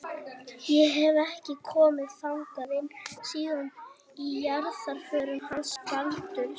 Ég hef. ekki komið þangað inn síðan í jarðarförinni hans Baldurs.